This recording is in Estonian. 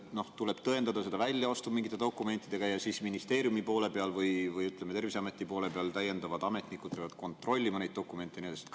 Kas tuleb tõendada seda väljaostu mingite dokumentidega ja kas ministeeriumi poole peal või Terviseameti poole peal peavad täiendavad ametnikud kontrollima neid dokumente ja nii edasi?